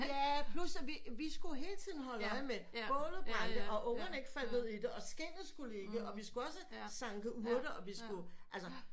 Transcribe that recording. Ja plus at vi vi skulle hele tiden holde øje med bålet brændte og ungerne ikke faldt ned i det og skindet skulle ligge og vi skulle også sanke urter og vi sku altså